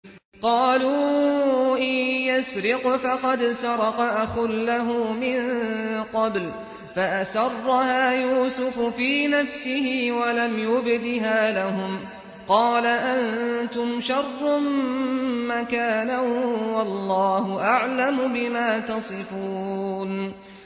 ۞ قَالُوا إِن يَسْرِقْ فَقَدْ سَرَقَ أَخٌ لَّهُ مِن قَبْلُ ۚ فَأَسَرَّهَا يُوسُفُ فِي نَفْسِهِ وَلَمْ يُبْدِهَا لَهُمْ ۚ قَالَ أَنتُمْ شَرٌّ مَّكَانًا ۖ وَاللَّهُ أَعْلَمُ بِمَا تَصِفُونَ